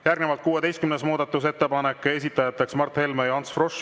Järgnevalt 16. muudatusettepanek, esitajateks Mart Helme ja Ants Frosch.